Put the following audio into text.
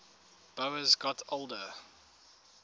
boas got older